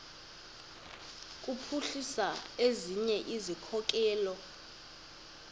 kuphuhlisa ezinye izikhokelo